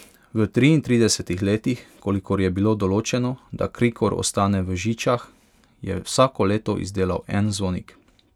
V triintridesetih letih, kolikor je bilo določeno, da Krikor ostane v Žičah, je vsako leto izdelal en zvonik.